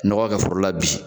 Nɔgɔ kɛ foro la bi.